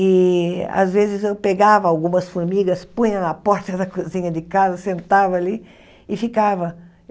E, às vezes, eu pegava algumas formigas, punha na porta da cozinha de casa, sentava ali e ficava.